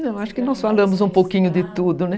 Não, acho que nós falamos um pouquinho de tudo, né?